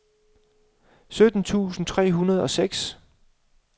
sytten tusind tre hundrede og seks